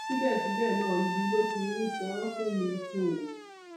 síbẹsíbẹ náà ibi ló fi ń san án fún mi um